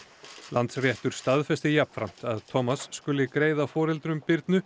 Landsréttur staðfesti jafnframt að skuli greiða foreldrum Birnu